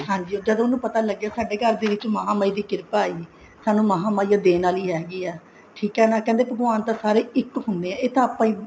ਹਾਂਜੀ ਜਦ ਉਹਨੂੰ ਪਤਾ ਲੱਗਿਆ ਸਾਡੇ ਘਰ ਦੇ ਵਿੱਚ ਮਹਾ ਮਾਈ ਦੀ ਕਿਰਪਾ ਹੈ ਸਾਨੂੰ ਮਹਾ ਮਾਈ ਓ ਦੇਣ ਵਾਲੀ ਹੈਗੀ ਏ ਠੀਕ ਏ ਨਾ ਕਹਿੰਦੇ ਭਗਵਾਨ ਤਾਂ ਇੱਕ ਹੁੰਦੇ ਆ ਇਹ ਤਾਂ ਆਪਾਂ ਹੀ